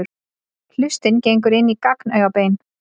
Hlustin gengur inn í gagnaugabein.